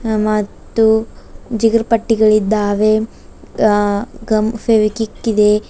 ಮತ್ತು ಜಿಗರ್ ಪಟ್ಟಿಗಳು ಇದ್ದಾವೆ ಅ ಗಮ್ ಫೆವಿಕ್ವಿಕ್ ಇದೆ.